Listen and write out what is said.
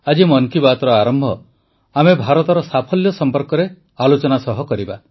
ଆଜି ମନ୍ କି ବାତ୍ର ଆରମ୍ଭ ଆମେ ଭାରତର ସାଫଲ୍ୟ ସମ୍ପର୍କରେ ଆଲୋଚନା ସହ କରିବା